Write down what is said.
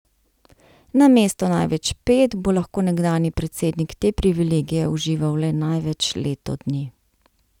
Namesto največ pet bo lahko nekdanji predsednik te privilegije užival le največ leto dni.